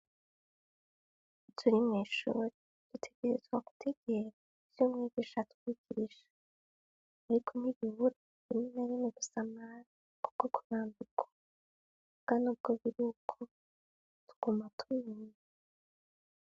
Iturimishuro dutegerezwa gutegera ivyo umwezi ishatuuwigirisha eriko migibura ininarime gusamara kubwo kurambiko bwa ni ubwo biri uko tuguma tumene.